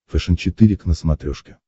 фэшен четыре к на смотрешке